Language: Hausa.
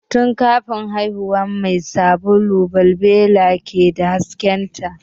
Tun kafin haihuwan mai sabulu balbela ke da hasken ta